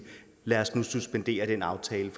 lad os nu suspendere den aftale